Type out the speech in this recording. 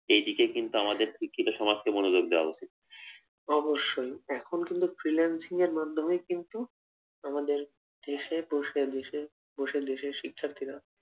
এইদিকে কিন্তু আমাদের শিক্ষিত সমাজকে মনোযোগ দেওয়া উচিত, অবশ্যই এখন কিন্তু freelancing এর মাধ্যমেই কিন্তু আমাদের দেশে বসেই দেশের শিক্ষার্থীরা